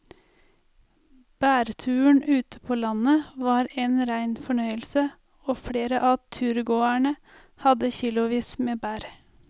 Blåbærturen ute på landet var en rein fornøyelse og flere av turgåerene hadde kilosvis med bær.